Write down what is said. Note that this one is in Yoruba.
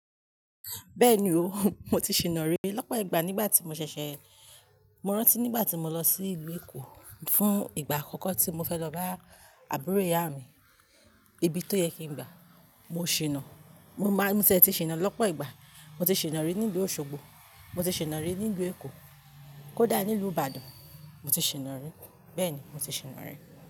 Bẹ́ẹ̀ni o, mo ti ṣìna ri lọ́pọ̀ ìgbà nígbà tí mo ṣẹ̀ṣẹ̀, mo rántí nígbà tí mo lọ sí ìlú Èkó fún ìgbà àkọ́kọ́ tí mo fẹ́ lọ bá àbúrò ìyá mi, ibi tó yẹ kí n gba. Mo ṣìnà, mo máa-- mo tiẹ ti ṣìna lọ́pọ̀ ìgbà. Mo ti ṣìnà rí nílùú Osogbo, mo ti ṣìnà rí nílùú Èkó, kó dà nílùú Ìbàdàn, mo ti ṣìnà rí. Bẹ́ẹ̀ni, mo ti ṣìnà rí.